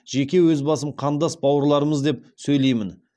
жеке өз басым қандас бауырларымыз деп сөйлеймін